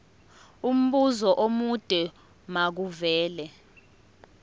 umbuzo omude makuvele